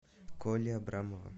коли абрамова